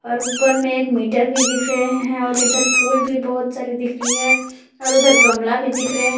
और ऊपर में एक मीटर भी दिख रहे हैं और इधर फूल भी बहुत सारे दिख रही है और उधर गमला भी दिख रहे हैं।